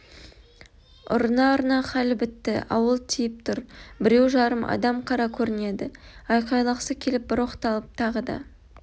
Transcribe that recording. ұрына-ұрына халі бітті ауыл тиіп тұр біреу-жарым адам қара көрінеді айқайлағысы келіп бір оқталып тағы да